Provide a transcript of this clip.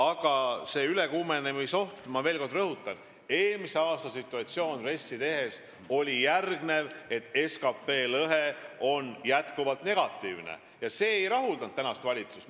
Aga selle ülekuumenemisohu koha pealt ma veel kord rõhutan, milline oli eelmise aasta situatsioon RES-i tehes: SKT lõhe oli jätkuvalt negatiivne ja see ei rahuldanud valitsust.